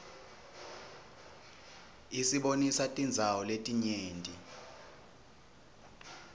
isibonisa tindzawo letinyenti